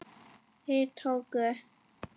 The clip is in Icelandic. Þeir tóku